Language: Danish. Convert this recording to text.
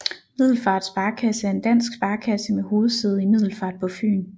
Middelfart Sparekasse er en dansk sparekasse med hovedsæde i Middelfart på Fyn